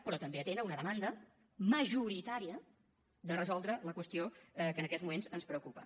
però també atén una demanda majoritària de resoldre la qüestió que en aquests moments ens preocupa